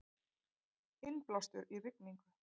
Innblástur í rigningu